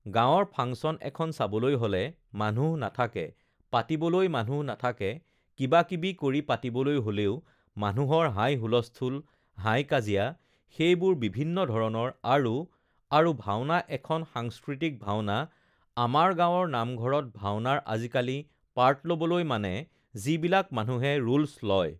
গাঁৱৰ ফাংচন এখন চাবলৈ হ'লে মানুহ নাথাকে পাতিবলৈ মানুহ নাথাকে কিবাকিবি কৰি পাতিবলৈ হ'লেও মানুহৰ হাই-হুলস্থুল হাই-কাজিয়া সেইবোৰ বিভিন্ন ধৰণৰ আৰু আৰু ভাওনা এখন সাংস্কৃতিক ভাওনা আমাৰ গাঁৱৰ নামঘৰত ভাওনাৰ আজিকালি পাৰ্ট ল'বলৈ মানে যিবিলাক মানুহে ৰোলছ লয়